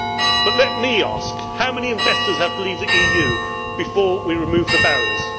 but let me ask how many investors have to leave the EU before we remove the barriers?